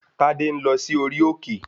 Tádé ń lọ sí orí òkè